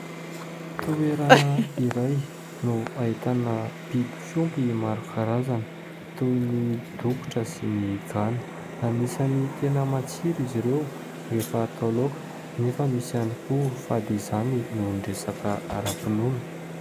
Toerana iray no ahitana biby fiompy maro karazana, toy ny dokotra sy ny gana, anisan'ny tena matsiro izy ireo rehefa atao laoka nefa misy ihany koa fady izany noho ny resaka aram-pinoana.